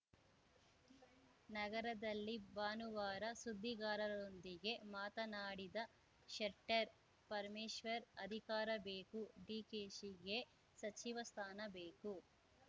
ನಗರದಲ್ಲಿ ಭಾನುವಾರ ಸುದ್ದಿಗಾರರೊಂದಿಗೆ ಮಾತನಾಡಿದ ಶೆಟ್ಟರ್‌ ಪರಮೇಶ್ವರ್‌ ಅಧಿಕಾರ ಬೇಕು ಡಿಕೆಶಿಗೆ ಸಚಿವ ಸ್ಥಾನ ಬೇಕು